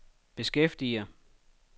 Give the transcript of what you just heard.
beskæftiger